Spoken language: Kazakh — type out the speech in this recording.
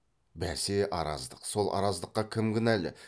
бәсе араздық сол араздыққа кім кінәлі